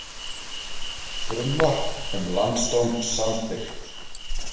Frumvarp um landsdóm samþykkt